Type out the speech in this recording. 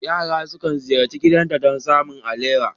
Yara sukan ziyarci gidanta don samun alewa.